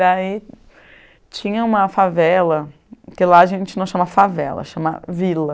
Daí tinha uma favela, que lá a gente não chama favela, chama vila,